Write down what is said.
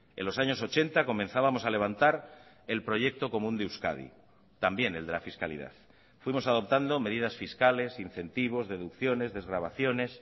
en los años ochenta comenzábamos a levantar el proyecto común de euskadi también el de la fiscalidad fuimos adoptando medidas fiscales incentivos deducciones desgravaciones